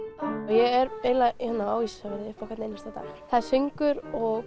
ég er eiginlega á Ísafirði upp á hvern einasta dag það er söngur og